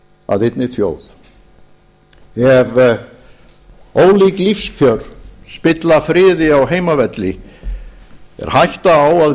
að einni þjóð ef ólík lífskjör spilla friði á heimavelli er hætta á að